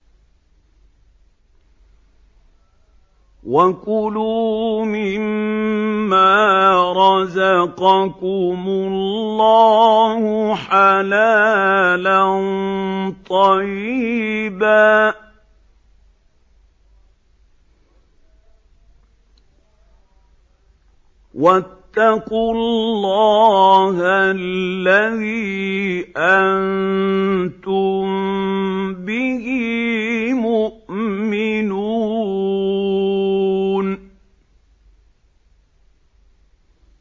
وَكُلُوا مِمَّا رَزَقَكُمُ اللَّهُ حَلَالًا طَيِّبًا ۚ وَاتَّقُوا اللَّهَ الَّذِي أَنتُم بِهِ مُؤْمِنُونَ